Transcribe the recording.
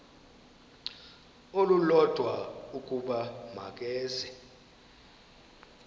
olulodwa ukuba makeze